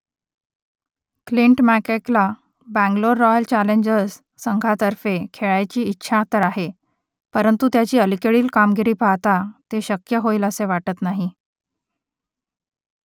Clint मॅककेला Bangalore royal challengers संघातर्फे खेळायची इच्छा तर आहे परंतु त्याची अलीकडील कामगिरी पाहता ते शक्य होईलसे वाटत नाही